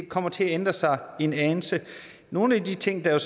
kommer til at ændre sig en anelse nogle af de ting der